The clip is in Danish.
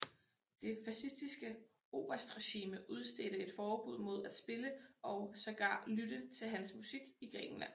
Det fascistiske oberstregime udstedte et forbud mod at spille og sågar lytte til hans musik i Grækenland